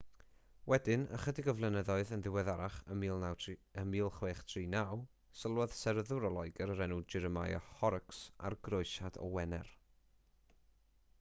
wedyn ychydig flynyddoedd yn ddiweddarach yn 1639 sylwodd seryddwr o loegr o'r enw jeremiah horrocks ar groesiad o wener